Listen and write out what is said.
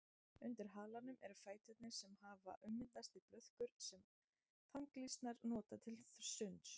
Undir halanum eru fæturnir sem hafa ummyndast í blöðkur sem þanglýsnar nota til sunds.